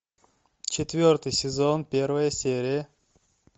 четвертый сезон первая серия